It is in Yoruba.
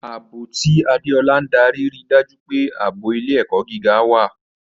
Ààbò, tí Adeola ń darí, rí i dájú pé ààbò ilé-ẹ̀kọ́ gíga wà.